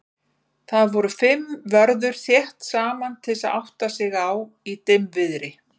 Þar voru fimm vörður þétt saman til að átta sig á í dimmviðri.